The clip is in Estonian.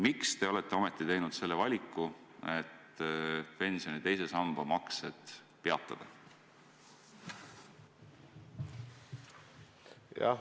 Miks te olete ometi teinud selle valiku, et pensioni teise samba maksed peatada?